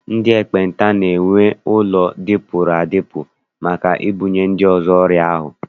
Ndị ekpenta na- enwe ụlọ dịpụrụ adịpụ maka ibunye ndị mmadụ ọrịa ahụ.